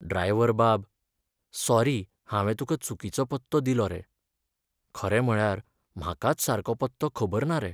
Driver बाब! Sorry, हांवें तुका चुकीचो पत्तो दिलो रे. खरें म्हळ्यार म्हाकाच सारको पत्तो खबर ना रे.